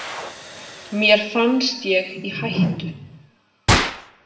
Mér fannst ég í hættu.